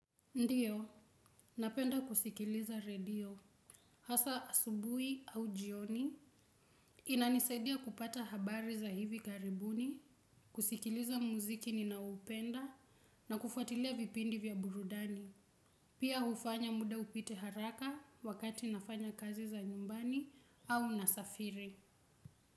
Ndiyo, napenda kusikiliza radio, hasa asubuhi au jioni, inanisaidia kupata habari za hivi karibuni, kusikiliza muziki ninaupenda, na kufuatilia vipindi vya burudani, pia hufanya muda upite haraka wakati nafanya kazi za nyumbani au nasafiri.